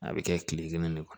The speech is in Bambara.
A bɛ kɛ kile kelen ne